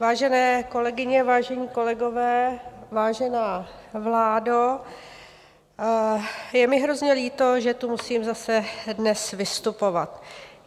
Vážené kolegyně, vážení kolegové, vážená vládo, je mi hrozně líto, že tu musím zase dnes vystupovat.